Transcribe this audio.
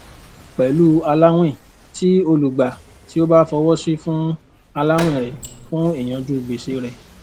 pẹlú aláwìn tí olùgbà tí ó bá fọwọsi fún aláwìn rẹ fún ìyànjú gbèsè rẹ